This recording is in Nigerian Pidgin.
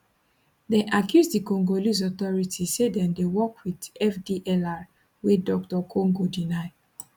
dem accuse di congolese authorities say dem dey work wit fdlr wey dr congo deny